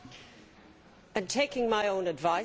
Taking my own advice, let me be calm.